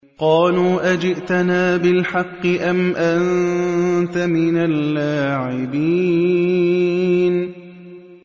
قَالُوا أَجِئْتَنَا بِالْحَقِّ أَمْ أَنتَ مِنَ اللَّاعِبِينَ